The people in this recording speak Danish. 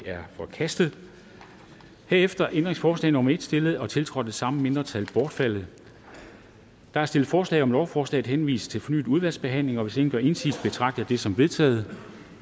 er forkastet herefter er ændringsforslag nummer en stillet og tiltrådt af de samme mindretal bortfaldet der er stillet forslag om at lovforslaget henvises til fornyet udvalgsbehandling og hvis ingen gør indsigelse betragter jeg det som vedtaget